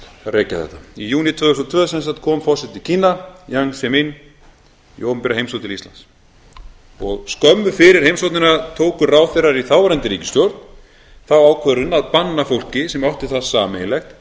rekja þetta í júní tvö þúsund og tvö kom forseti kína jiang zemin í opinbera heimsókn til íslands skömmu fyrir heimsóknina tóku ráðherrar í þáverandi ríkisstjórn þá ákvörðun að banna fólki sem átti það sameiginlegt